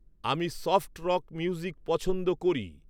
আমি soft rock music পছন্দ করি